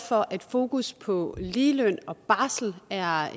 for at fokus på ligeløn og barsel er